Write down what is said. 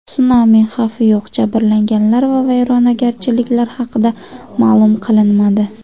Sunami xavfi yo‘q, jabrlanganlar va vayronagarchiliklar haqida ma’lum qilinmadi.